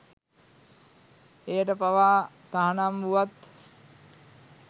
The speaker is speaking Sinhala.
එයට පවා තහනම් වුවත්